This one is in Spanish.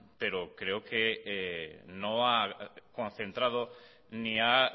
pero creo que no ha concentrado ni ha